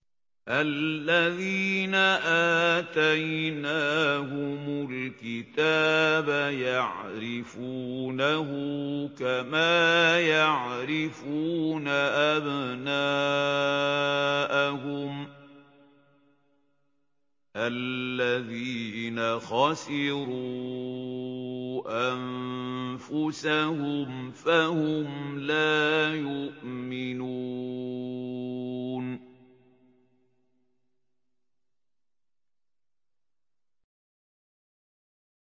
الَّذِينَ آتَيْنَاهُمُ الْكِتَابَ يَعْرِفُونَهُ كَمَا يَعْرِفُونَ أَبْنَاءَهُمُ ۘ الَّذِينَ خَسِرُوا أَنفُسَهُمْ فَهُمْ لَا يُؤْمِنُونَ